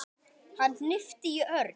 Hann hnippti í Örn.